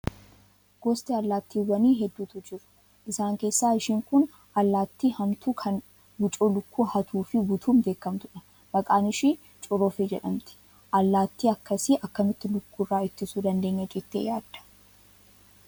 Gosti allaattiiwwanii hedduutu jiru. Isaan keessaa ishiin kun allaattii hamtuu kan wucoo lukkuu hatuu fi butuutti beekamtu dha. Maqaan ishii corofee jedhamti. Allaatti akkasii akkamittiin lukkuu irraa ittisuu dandeenya jettee yaadda?